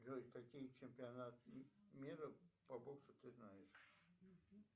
джой какие чемпионаты мира по боксу ты знаешь